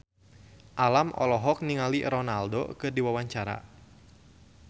Alam olohok ningali Ronaldo keur diwawancara